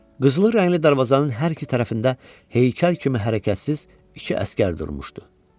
Qızılı rəngli darvazanın hər iki tərəfində heykəl kimi hərəkətsiz iki əsgər durmuşdu.